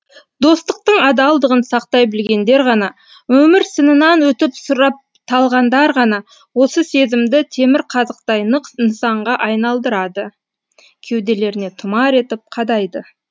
достықтың адалдығын сақтай білгендер ғана өмір сынынан өтіп сұрапталғандар ғана осы сезімді темірқазықтай нық нысанға айналдырады кеуделеріне тұмар етіп қадайды